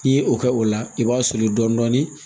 N'i ye o kɛ o la i b'a soli dɔɔnin